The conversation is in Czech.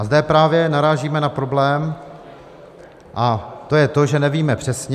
A zde právě narážíme na problém, a to je to, že nevíme přesně.